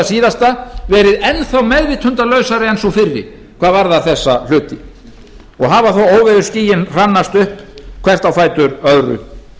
síðasta verið enn þá meðvitundarlausari en sú fyrri hvað varðar þessa hluti og hafa þó óveðursskýin hrannast upp hvert á fætur öðru